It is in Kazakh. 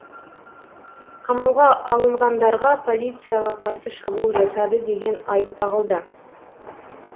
қамауға алынғандарға полицияға қарсы шабуыл жасады деген айып тағылды